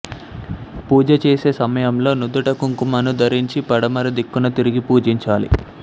పూజ చేసే సమయంలో నుదుట కుంకుమను ధరించి పడమర దిక్కున తిరిగి పూజించాలి